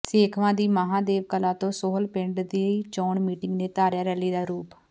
ਸੇਖਵਾਂ ਦੀ ਮਹਾਂਦੇਵ ਕਲਾਂ ਤੇ ਸੋਹਲ ਪਿੰਡ ਦੀ ਚੋਣ ਮੀਟਿੰਗ ਨੇ ਧਾਰਿਆ ਰੈਲੀ ਦਾ ਰੂਪ